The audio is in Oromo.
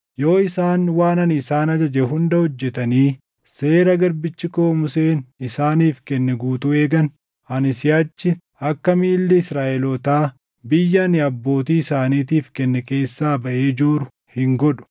Yoo isaan waan ani isaan ajaje hunda hojjetanii Seera garbichi koo Museen isaaniif kenne guutuu eegan, ani siʼachi akka miilli Israaʼelootaa biyya ani abbootii isaaniitiif kenne keessaa baʼee jooru hin godhu.”